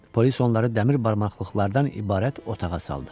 Polis onları dəmir barmaqlıqlardan ibarət otağa saldı.